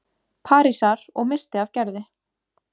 Parísar- og missti af Gerði.